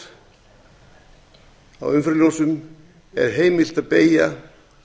hægri við gatnamót á umferðarljósum er heimilt að beygja